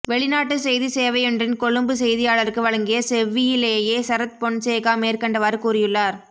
வெளிநாட்டு செய்திச் சேவையொன்றின் கொழும்பு செய்தியாளருக்கு வழங்கிய செவ்வியிலேயே சரத் பொன்சேகா மேற்கண்டவாறு கூறியுள்ளார்